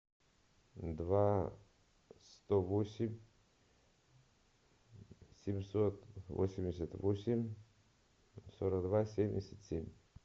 два сто восемь семьсот восемьдесят восемь сорок два семьдесят семь